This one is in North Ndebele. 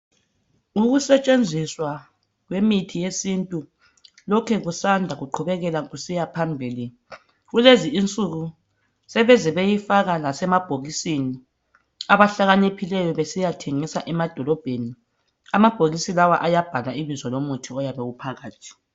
Ukusetshenziswa kwemithi yesintu lokhe kusanda kuqhubekela kusiya phambili kulezi insuku sebeze bewufaka emabhokisini abahlakaniphileyo besiyayithengisa emadolobheni, amabhokisi lawa ayabhalwa ibizo lomuthi oyabe uphakathi.